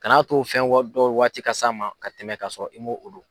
Kan'a to fɛn wa dɔ waati ka s'a ma ka tɛmɛ ka sɔrɔ i mo o don.